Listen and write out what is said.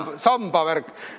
See sambavärk.